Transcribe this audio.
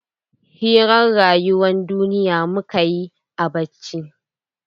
Hirar rayuwan duniya mukayi a coci.